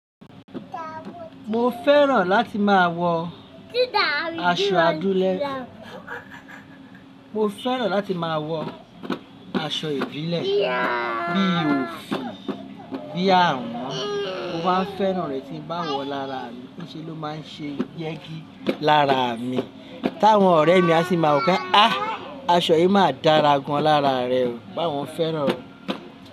Mo fẹ́ràn láti máa wọ aṣọ adúlẹ. Mo fẹ́ràn láti máa wọ aṣọ ìbílẹ̀ bí i òfì, bí i àwọ̀n. Mo máa fẹ́ràn rẹ́ tí ń bá wọ̀ lára mi. Ni ṣe ló máa ń ṣe yẹ́gi lára mi. Táwọn ọ̀rẹ́ mi a sì máa wọ̀ pe, “ah! Aṣọ yìí máa dára gan lára rẹ o.” Báwo fẹ́ràn o.